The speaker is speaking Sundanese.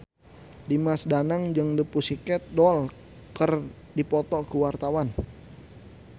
Dimas Danang jeung The Pussycat Dolls keur dipoto ku wartawan